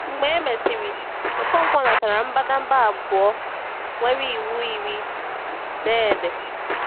Mgbe e mesịrị, Ọkọnkwo natara mbadamba abụọ nwere Iwu Iri dee ede.